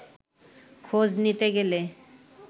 খোঁজ নিতে গেলে